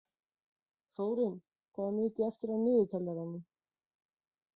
Þórinn, hvað er mikið eftir af niðurteljaranum?